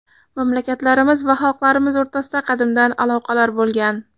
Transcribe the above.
Mamlakatlarimiz va xalqlarimiz o‘rtasida qadimdan aloqalar bo‘lgan.